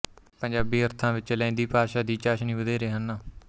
ਪੰਜਾਬੀ ਅਰਥਾਂ ਵਿੱਚ ਲਹਿੰਦੀ ਭਾਸ਼ਾਂ ਦੀ ਚਾਸ਼ਨੀ ਵਧੇਰੇ ਹਨ